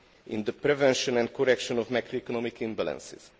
in the prevention and correction of macroeconomic imbalances.